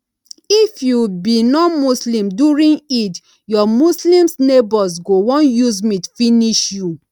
if you be nonmuslim during eid your muslims neighbours go wan use meat finish you